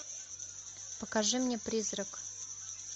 покажи мне призрак